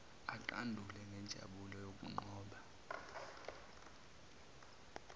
aqandule ngenjabulo yokunqoba